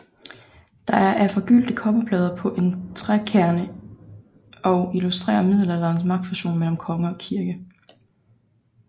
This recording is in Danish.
Det er af forgyldte kobberplader på en trækerne og illustrerer middelalderens magtfusion mellem konge og kirke